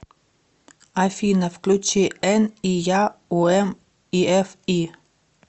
афина включи эн и я у эм и эф и